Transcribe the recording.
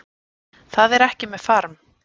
Það er ekki með farm